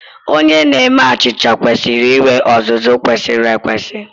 Onye na-eme achịcha kwesịrị inwe ọzụzụ kwesịrị ekwesị.